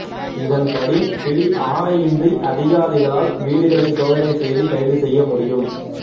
இதன்படி பிடியாணையின்றி அதிகாரிகளால் வீடுகளை சோதனை செய்து கைது செய்ய முடியும்